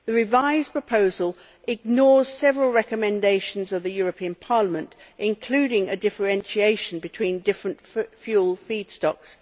The revised proposal ignores several recommendations of the European Parliament, including a differentiation between different fuel feedstocks.